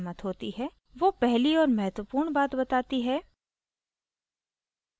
वो पहली और महत्वपूर्ण बात बताती है